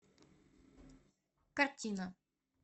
картина